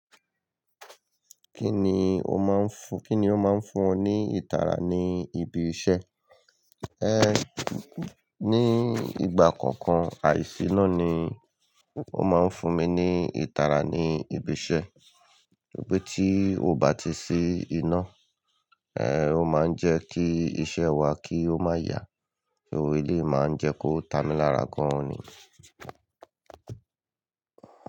Kí ni ó máa ń fún, kí ni ó máa ń fún ọ ní ìtara ní ibi iṣẹ́? Ehn, ní ìgbà kọ̀ọ̀kan, àìsí iná ni ó máa ń fún mi ní ìtara ní ibi iṣẹ́. Gbogbo tí ó bá ti sí iná, eh, ó máa ń jẹ́ kí iṣẹ́ wa kí ó má yá, so eléyii máa ń jẹ́ kó ta mi lára gan ni.